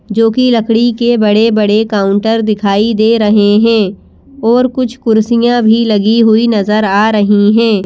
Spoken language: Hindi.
जो कि लकड़ी के बड़े-बड़े काउंटर दिखाई दे रहे हैं और कुछ कुर्सियां भी लगी हुई नजर आ रही हैं।